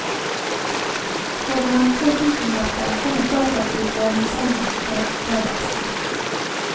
For noen få tusenlapper kan et datastyrt vanningsanlegg redde vekstene.